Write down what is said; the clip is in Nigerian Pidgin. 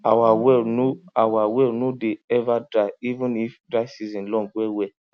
our well no our well no dey ever dry even if dry season long well well